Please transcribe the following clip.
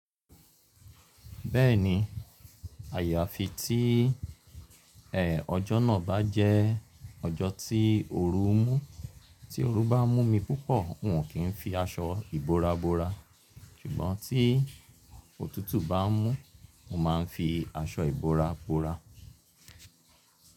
Bẹ́ẹ̀ni àyàfi tí, ọjọ́ náà bá jẹ́ ọjọ́ tí ooru mú tí ooru bá mú mi púpọ̀, n ò kí n fi aṣọ ìbora bora ṣùgbọ́n tí òtútù bá mú mo máa ń fi aṣọ ìbora bora.